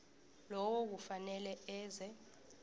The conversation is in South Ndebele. lowo kufanele eze